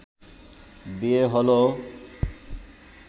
বিয়ে হলো